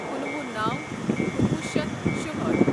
کُنوُہ نو کُنوُہ شیتھ شُہأٹھ